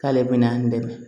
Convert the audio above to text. K'ale bɛna dɛmɛ